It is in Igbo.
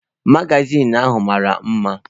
Magazin ahụ mara mma